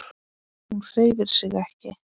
Hún hreyfir sig ekki.